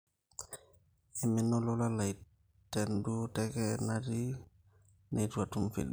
eimina olola lai tenduo teke natii neitu atum feedback